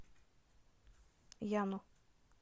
яну